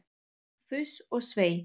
Fuss og svei!